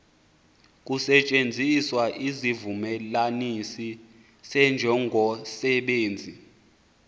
kusetyenziswa isivumelanisi senjongosenzi